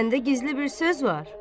Səndə gizli bir söz var!